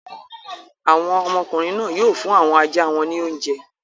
Àwọn ọmọkùnrin náà yóò fún àwọn ajá wọn ní oúnjẹ.